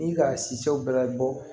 Ni ka siw bɛɛ la bɔ